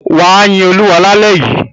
Wà á yin Olúwa lálẹ́ yìí.